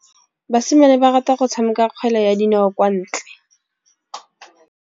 Basimane ba rata go tshameka kgwele ya dinaô kwa ntle.